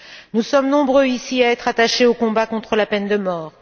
Nous sommes nombreux, ici, à être attachés au combat contre la peine de mort.